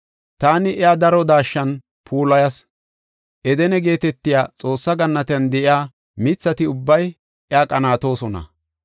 Taani iya daro daashshan puulayas; Edene geetetiya Xoossa gannatiyan de7iya mithati ubbay iya qanaatoosona.